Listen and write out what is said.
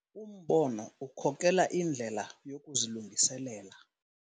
Umbono ukhokela indlela yokuzilungiselela.